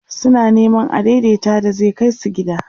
suna Neman adaidaita da zai Kai su gida